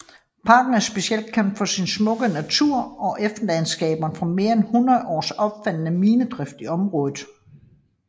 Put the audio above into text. Parken er specielt kendt for sin smukke natur og efterladenskaberne fra mere end 100 års omfattende minedrift i området